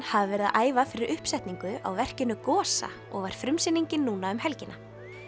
hafa verið að æfa fyrir uppsetningu á verkinu Gosa og var frumsýningin núna um helgina